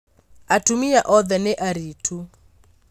Atumia othe nĩ aritũ